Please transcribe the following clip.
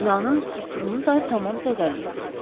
Binanın strukturunu da tamam zədələyib.